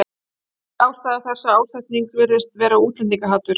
Ástæða þessa ásetnings virðist vera útlendingahatur.